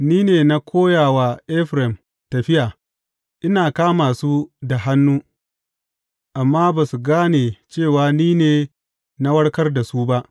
Ni ne na koya wa Efraim tafiya ina kama su da hannu; amma ba su gane cewa ni ne na warkar da su ba.